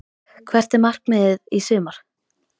Hvert er markmiðið í sumar?